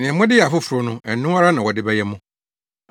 Nea mode yɛ afoforo no, ɛno ara na wɔde bɛyɛ mo.